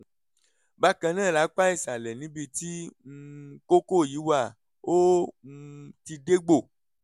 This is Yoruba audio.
bákan náà lápá ìsàlẹ̀ níbi tí um kókó yìí wà ó um ti dégbò